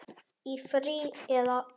Í frí. eða?